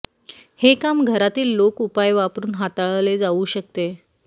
हे काम घरातील लोक उपाय वापरून हाताळले जाऊ शकते